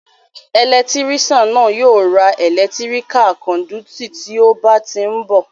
Ẹlẹtírísàn náà yóò ra ẹ̀lẹ́tíríká kándúítì tí ó bá tí ni bọ̀